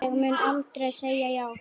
Ég mun aldrei segja já.